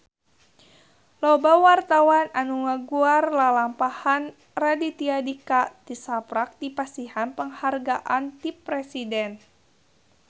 Loba wartawan anu ngaguar lalampahan Raditya Dika tisaprak dipasihan panghargaan ti Presiden